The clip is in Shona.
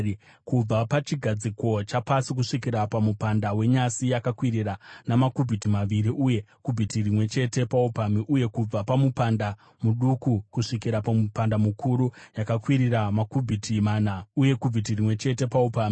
Kubva pachigadziko chapasi kusvikira pamupanda wenyasi yakakwirira namakubhiti maviri uye kubhiti rimwe chete paupamhi, uye kubva pamupanda muduku kusvikira pamupanda mukuru yakakwirira namakubhiti mana uye kubhiti rimwe chete paupamhi.